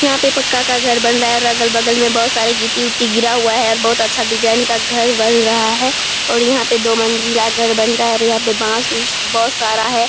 यहाँ पे पक्का का घर बन रहा है और अगल बगल में बहुत सारे गिट्टी ऊटी गिरा हुआ है और बहुत अच्छा डिजाइन का घर बन रहा है और यहाँ पे दो मंजिला घर बन रहा है और यहाँ पे बांस उस बहुत सारा है।